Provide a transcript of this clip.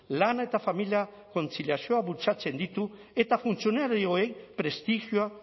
lana eta familia kontziliazioa bultzatzen ditu eta funtzionarioei prestigioa